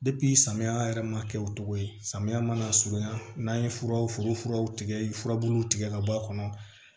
samiya yɛrɛ ma kɛ o cogo ye samiya mana surunya n'a ye furaw foro furaw tigɛ furabuluw tigɛ ka bɔ a kɔnɔ